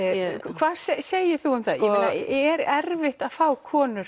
hvað segir þú um það er erfitt að fá konur